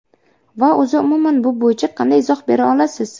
Va o‘zi umuman bu bo‘yicha qanday izoh bera olasiz?